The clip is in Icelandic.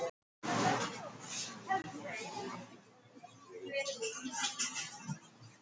Húðir voru allar þurrar og gærur.